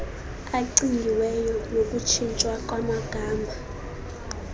acingiweyo nokutshintshwa kwamagama